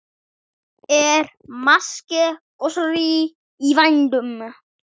Er máske gosórói í vændum?